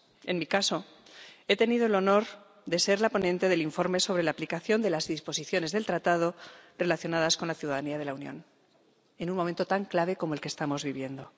En mi caso, he tenido el honor de ser la ponente del informe sobre la aplicación de las disposiciones del Tratado relacionadas con la ciudadanía de la Unión, en un momento tan clave como el que estamos viviendo.